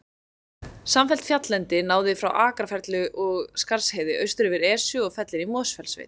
Samfellt fjalllendi náði frá Akrafjalli og Skarðsheiði austur yfir Esju og fellin í Mosfellssveit.